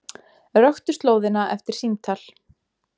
Röktu slóðina eftir símtal